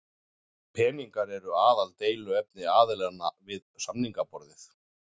Peningar eru aðaldeiluefni aðilanna við samningaborðið